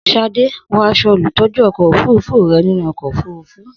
Sade, wọ aṣọ olùtọ́jú ọkọ̀ òfurufú rẹ nínú ọkọ̀ òfurufú.